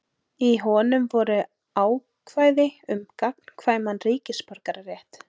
Í honum voru ákvæði um gagnkvæman ríkisborgararétt.